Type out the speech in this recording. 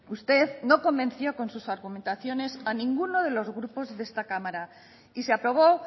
usted no convenció con sus argumentaciones a ninguno de los grupos de esta cámara y se aprobó